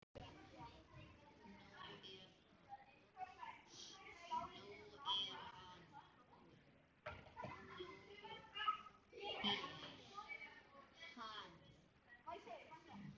Nú er hann